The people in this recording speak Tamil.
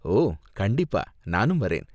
ஓ, கண்டிப்பா, நானும் வரேன்!